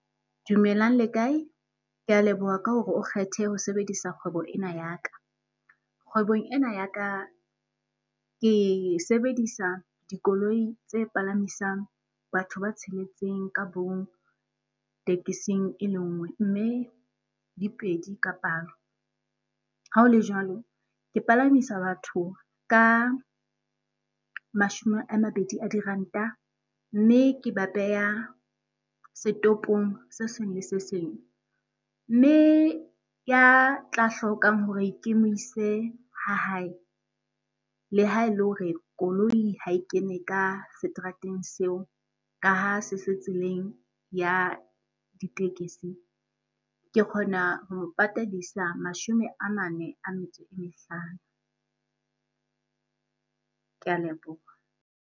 Dumelang le kae? Ke a leboha ka hore o kgethe ho sebedisa kgwebo ena ya ka. Kgwebong ena ya ka, ke e sebedisa dikoloi tse palamisang batho ba tsheletseng ka tekesing e le nngwe mme dipedi ka palo. Ha ho le jwalo, ke palamisa batho ka mashome a mabedi a diranta mme ke ba beha setopong se seng le se seng. Mme ya tla hlokang hore mo ise ha hae, le ha e le hore koloi ha e kene ka seterateng seo ka ha se se tseleng ya ditekesi. Ke kgona ho mo patadisa mashome a mane a metso e mehlano. Ke a leboha.